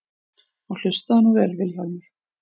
Og hlustaðu nú vel Vilhjálmur.